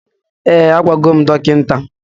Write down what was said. Ee, agwagom dọkịta